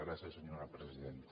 gràcies senyora presidenta